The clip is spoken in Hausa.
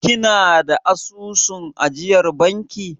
Kina da asusun ajiyar banki?